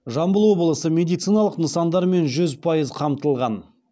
жамбыл облысы медициналық нысандармен жүз пайыз қамтылған